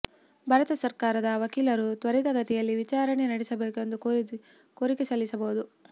ಭಾರತ ಸರ್ಕಾರದ ವಕೀಲರು ತ್ವರಿತಗತಿಯಲ್ಲಿ ವಿಚಾರಣೆ ನಡೆಸಬೇಕು ಎಂದು ಕೋರಿಕೆ ಸಲ್ಲಿಸಬಹುದು